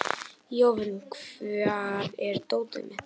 Jovina, hvar er dótið mitt?